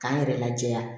K'an yɛrɛ lajɛ